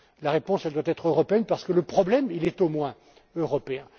La réponse doit être européenne parce que le problème est au moins européen.